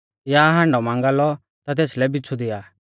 या हांडौ मांगा लौ ता तेसलै बिच़्छु दिआ